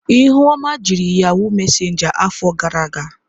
Ihuoma jiri yahụụ mesenja afọ gara aga.